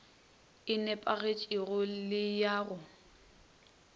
e nepagetšego le ya go